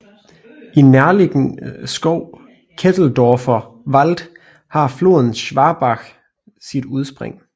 I den nærliggende skov Ketteldorfer Wald har floden Schwabach sit udspring